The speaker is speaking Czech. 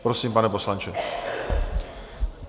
Prosím, pane poslanče.